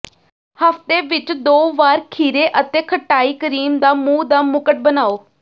ਹਫ਼ਤੇ ਵਿੱਚ ਦੋ ਵਾਰ ਖੀਰੇ ਅਤੇ ਖਟਾਈ ਕਰੀਮ ਦਾ ਮੂੰਹ ਦਾ ਮੁਕਟ ਬਣਾਉ